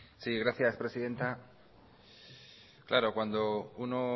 sí gracias presidenta claro cuando uno